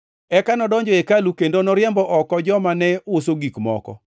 Eka nodonjo e hekalu kendo noriembo oko joma ne uso gik moko.